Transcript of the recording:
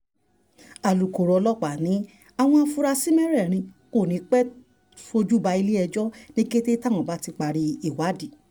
alūkkóró ọlọ́pàá ní àwọn afurasí mẹ́rẹ̀ẹ̀rin kò ní í pẹ́ẹ́ fojú balẹ̀-ẹjọ́ ní kété táwọn bá ti parí ìwádìí